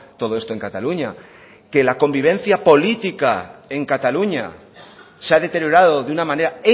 todo esto en cataluña que la convivencia política en cataluña se ha deteriorado de una manera